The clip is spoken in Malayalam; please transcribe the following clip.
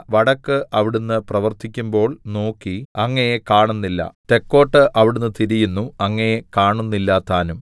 വടക്ക് അവിടുന്ന് പ്രവർത്തിക്കുമ്പോൾ നോക്കി അങ്ങയെ കാണുന്നില്ല തെക്കോട്ട് അവിടുന്ന് തിരിയുന്നു അങ്ങയെ കാണുന്നില്ലതാനും